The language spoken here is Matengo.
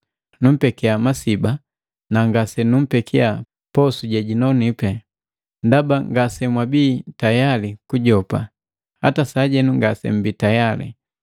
Numpeki masiba na ngasenumpekia posu jejinonipi, ndaba ngasemwabii tayali kugajopa. Hata sajenu ngasemmbi tayali.